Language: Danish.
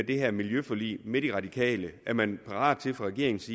det her miljøforlig med de radikale er man parat til fra regeringens